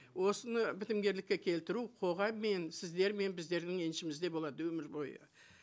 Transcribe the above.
осыны бітімгерлікке келтіру қоғаммен сіздер мен біздердің еншімізде болады өмір бойы